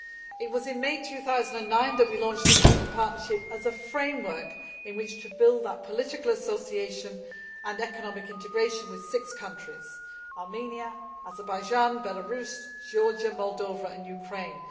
It was in May 2009 that we launched the Eastern Partnership as a framework in which to build up political association and economic integration with six countries, Armenia, Azerbaijan, Belarus, Georgia, Moldova and Ukraine.